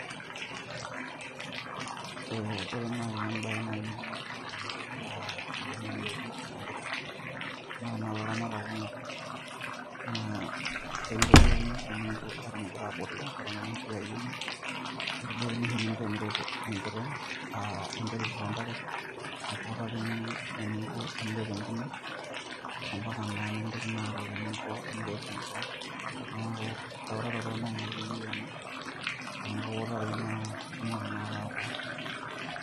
Ee ore naaji embae niyieu niyiolou tenereti enkiteng' eneikoni tenereti enkiteng' amu ore tanakata ilaramatak kumok naa ekintoduakini oshi teningo aton igirra abulu aton ira enkiti ayioni, ekintoduakini oshi eningo peyie eret enkiteng' aa interu too ntare nikiutani eningo teniret enkine, ambaka naa nikiutakini eningo teniret enkiteng' neeku eutarato naaji ake eyiu ena enikiutari naa etumoki naake ataasa.